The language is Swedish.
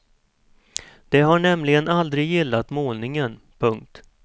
De har nämligen aldrig gillat målningen. punkt